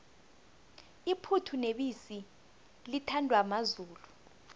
iphuthu nebisi lithandwa mazulu